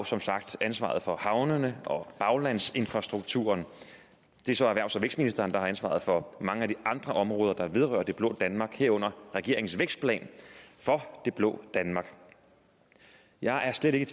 som sagt ansvaret for havnene og baglandsinfrastrukturen og det er så erhvervs og vækstministeren der har ansvaret for mange af de andre områder der vedrører det blå danmark herunder regeringens vækstplan for det blå danmark jeg er slet ikke